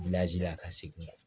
la ka segin